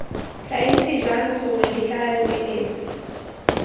tla itse jang gore ditlaleletsi